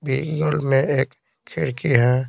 Beagle में एक खिड़की है।